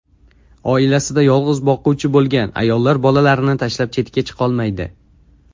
Oilasida yolg‘iz boquvchi bo‘lgan ayollar bolalarini tashlab chetga chiqolmaydi.